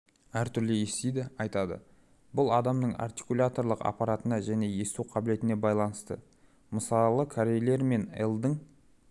әртүрлі естиді айтады бұл адамның артикуляторлық аппаратына және есту қабілетіне байланысты мысалы корейлер мен л-дың